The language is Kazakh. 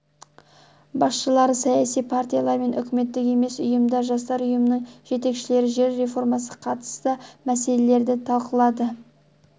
басшылары саяси партиялар мен үкіметтік емес ұйымдар жастар ұйымдарының жетекшілері жер реформасына қатысты мәселелерді талқылады